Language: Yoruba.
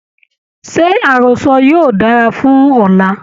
Ṣé àrọ́sọ yóò dára fún ọ̀la?